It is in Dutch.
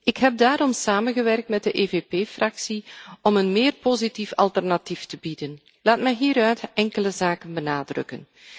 Ik heb daarom samengewerkt met de EVP Fractie om een positiever alternatief te bieden. Laat mij hieruit enkele zaken benadrukken.